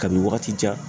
Kabi wagati jan